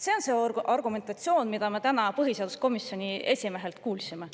See on see argumentatsioon, mida me täna põhiseaduskomisjoni esimehelt kuulsime.